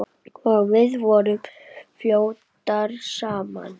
Og við vorum flottar saman.